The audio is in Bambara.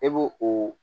E b'o o